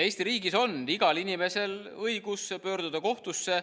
Eesti riigis on igal inimesel õigus pöörduda kohtusse.